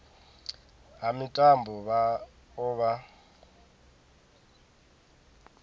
ha mitambo vha o vha